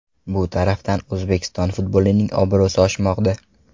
Bu tarafdan O‘zbekiston futbolining obro‘si oshmoqda.